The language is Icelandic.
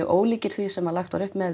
ólíkir því sem lagt var upp með